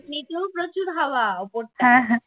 এমনিতেও প্রচুর হাওয়া